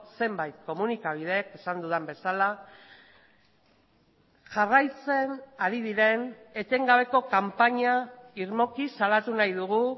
zenbait komunikabideek esan dudan bezala jarraitzen ari diren etengabeko kanpaina irmoki salatu nahi dugu